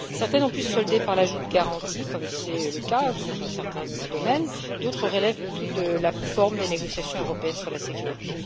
Certaines ont pu se solder par l'ajout de garanties, comme c'est le cas sur certains domaines, d'autres relèvent plutôt de la forme des négociations européennes sur la sécurité.